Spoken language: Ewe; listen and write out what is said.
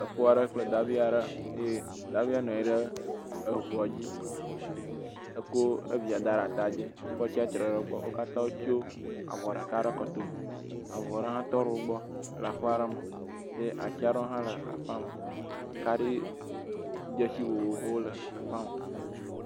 Efo aɖe kple davi aɖe ye davia nɔ anyi ɖe eŋua dzi eko evia de ɖe ata dzi. Efoa tsia tre ɖe gbɔ. Wo katã wotso avɔ ɖeka ɖe kɔtome. Avu aɖe hã tɔ ɖe wogbɔ le aƒe aɖe me ye atsi aɖe hã le aƒea me ye kaɖidzesi vovovowo le aƒea me.